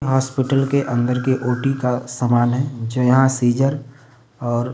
hospital के अंदर के ओटी का सामान है जो यहां सीजर और --